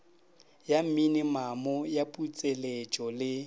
ya minimamo ya putseletšo le